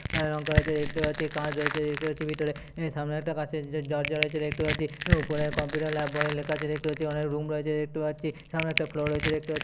বাহিরে রং করা আছে দেখতে পাচ্ছি। কাঁচ রয়েছে দেখতে পাচ্ছি। ভেতরে এ সামনে একটা কাঁচের দ-দরজা রয়েছে দেখতে পাচ্ছি এবং ওপরে কম্পিউটার ল্যাব বলে লেখা আছে দেখতে পাচ্ছি। অনেক রুম রয়েছে দেখতে পাচ্ছি। সামনে একটা ফ্লোর রয়েছে দেখতে পা --